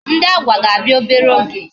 Ndị Agwa ga-abịa obere oge